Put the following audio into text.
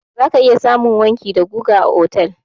Za ka iya samun wanki da guga a otal.